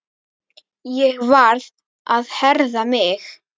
Ég varð að herða mig.